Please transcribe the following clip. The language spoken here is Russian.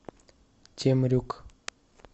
темрюк